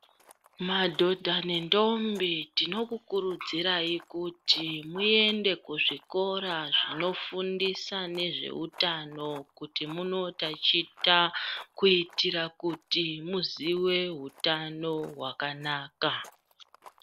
Madhodha ne ndombi tinoku kurudzirayi kuti muende ku zvikora zvino fundisa ne zveutano kuti muno taticha kuiitira kuti muzive hutano hwaka naka .